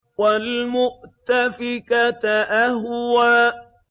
وَالْمُؤْتَفِكَةَ أَهْوَىٰ